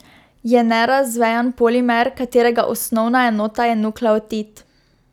Je nerazvejan polimer, katerega osnovna enota je nukleotid.